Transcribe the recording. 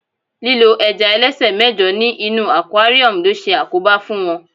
lílo ẹja ẹlẹsẹ mẹjọ ní inú aquarium lo se àkóbá fún wón